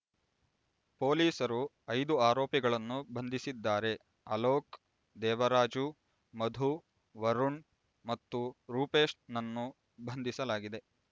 ಪೊಲೀಸರು ಐದು ಆರೋಪಿಗಳನ್ನು ಬಂಧಿಸಿದ್ದಾರೆ ಅಲೋಕ್ ದೇವರಾಜು ಮಧು ವರುಣ್ ಮತ್ತು ರೂಪೇಶ್ ನನ್ನು ಬಂಧಿಸಲಾಗಿದೆ